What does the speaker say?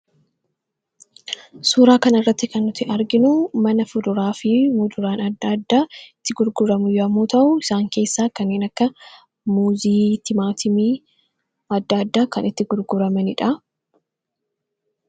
Suuraa kana irratti kan nuti arginu, mana fuduraa fi muduraan adda adda itti gurguramu yommuu ta'u, isaan keessaa kanneen akka muuzii ,timaatimii adda adda kan itti gurguramanidha.